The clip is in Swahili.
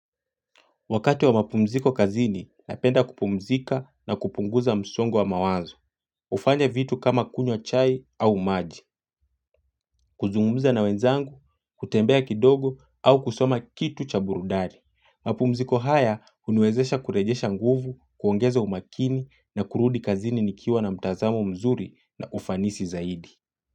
Wakati wa mapumziko kazini, napenda kupumzika na kupunguza msongo wa mawazo. Ufanya vitu kama kunywa chai au maji, kuzungumza na wenzangu, kutembea kidogo au kusoma kitu cha burudani. Mapumziko haya huniwezesha kurejesha nguvu, kuongeza umakini na kurudi kazini nikiwa na mtazamo mzuri na ufanisi zaidi.